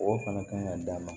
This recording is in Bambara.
O fana kan ka d'a ma